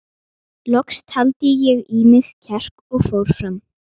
Loks taldi ég í mig kjark og fór fram.